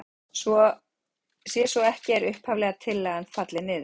Sé svo ekki er upphaflega tillagan fallin niður.